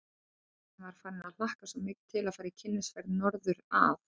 Ég sem var farin að hlakka svo mikið til að fara í kynnisferð norður að